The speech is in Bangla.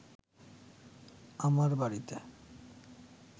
আমার বাড়িতে